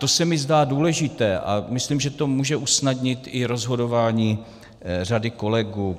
To se mi zdá důležité a myslím, že to může usnadnit i rozhodování řady kolegů.